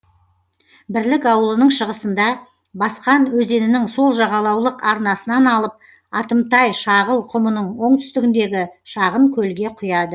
бірлік ауылының шығысында басқан өзенінің сол жағалаулық арнасынан алып атымтайшағыл құмының оңтүстігіндегі шағын көлге құяды